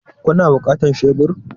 Kuna buƙatar shebur?